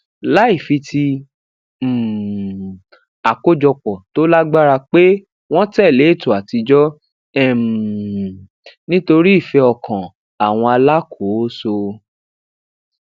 láì fi ti um àkójopò tó lágbára pè wọn tẹlé ètò àtijọ um nítorí ìfẹ ọkàn àwọn alákòóso